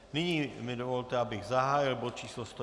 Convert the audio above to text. Nyní mi dovolte, abych zahájil bod číslo